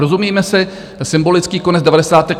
Rozumíme si, symbolický konec devadesátek.